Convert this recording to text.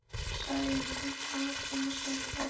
Sæunn heldur áfram að segja frá.